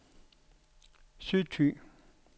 Sydthy